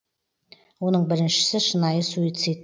оның біріншісі шынайы суицид